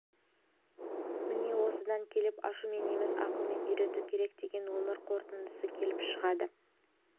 міне осыдан келіп ашумен емес ақылмен үйрету керек деген өмір қорытындысы келіп шығады